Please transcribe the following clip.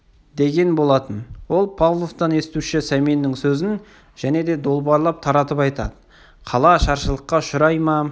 деген болатын ол павловтан естуші сәменнің сөзін және де долбарлап таратып айтады қала ашаршылыққа ұшырай ма